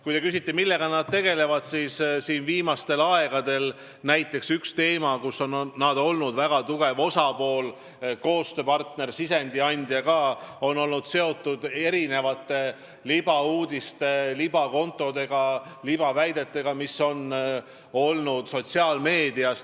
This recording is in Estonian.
Kui te küsite, millega nad tegelevad, siis ütlen, et viimastel aegadel näiteks üks teema, kus nad on olnud väga tugev osapool, koostööpartner, ka sisendi andja, on olnud seotud erinevate libauudiste, libakontodega, libaväidetega, mis on olnud sotsiaalmeedias.